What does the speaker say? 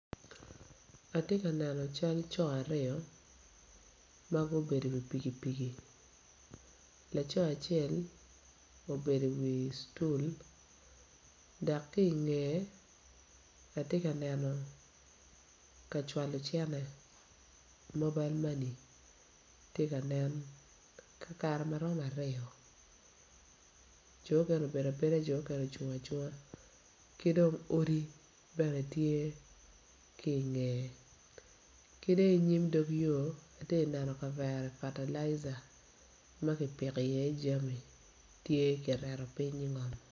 Atye ka neno cal co aryo ma gubedo iwi pikipiki laco acel obedo iwi stool dok ki ingeye atye ka neno ka cwalo cene mobile money tye ka nen kakare ma romo aryo jo okene obedo abeda ko okene ocung acunga ki dong odi bene tye ki ingeye ki dong inyim dog yo ati neno kavere fatalaija ma kipiko iye jami tye kireto piny ingom.